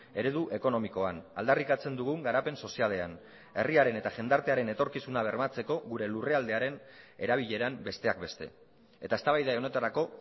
eredu ekonomikoan aldarrikatzen dugun garapen sozialean herriaren eta jendartearen etorkizuna bermatzeko gure lurraldearen erabileran besteak beste eta eztabaida honetarako